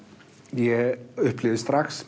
ég upplifði strax